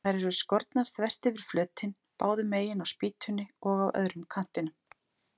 Þær eru skornar þvert yfir flötinn, báðu megin á spýtunni og á öðrum kantinum.